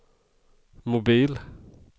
mobil